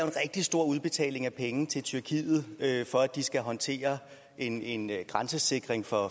rigtig stor udbetaling af penge til tyrkiet for at de skal håndtere en en grænsesikring for